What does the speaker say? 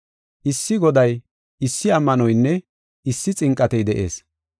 Issi Goday, issi ammanoynne issi xinqatey de7ees.